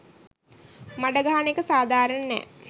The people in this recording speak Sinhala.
මඩ ගහන එක සධාරණ නෑ.